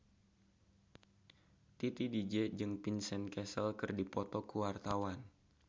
Titi DJ jeung Vincent Cassel keur dipoto ku wartawan